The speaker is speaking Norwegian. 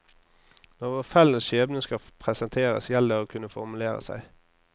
Når vår felles skjebne skal presenteres, gjelder det å kunne formulere seg.